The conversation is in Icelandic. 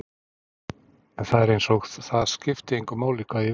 En það er einsog það skipti engu máli hvað ég vil.